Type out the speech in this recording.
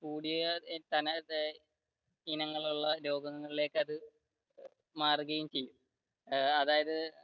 കൂടിയ ഇനങ്ങളുള്ള രോഗങ്ങളിലേക്ക് അത് മാറുകയും ചെയ്യും ഏർ അതായത്